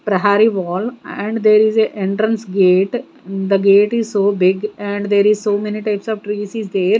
Prahari wall and there is a entrance gate the gate is so big and there is so many types of trees is there.